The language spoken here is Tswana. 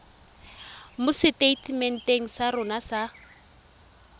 mo seteitementeng sa rona sa